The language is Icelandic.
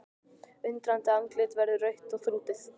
Undrandi andlitið verður rautt og þrútið.